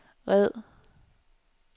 red